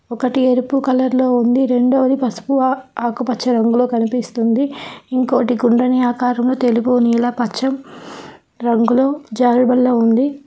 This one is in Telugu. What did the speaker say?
ఒకటి ఎరుపు కలర్ లో ఉంది రెండోది పసుపు ఆకుపచ్చ రంగులో కనిపిస్తుంటి ఇంకోటి కుండని ఆకారంలో తెలుపు నీలా పచ్చం రంగులో జారుబల్ల ఉంది.